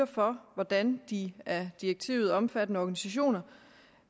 for hvordan de af direktivet omfattede organisationer